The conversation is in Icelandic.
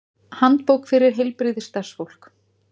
Handbók fyrir heilbrigðisstarfsfólk.